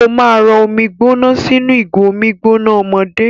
Ó máa rọ omi gbóná sínú ìgò omi gbóná ọmọdé.